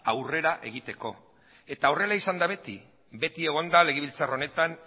aurrera egiteko da eta horrela izan da beti beti egon da legebiltzar honetan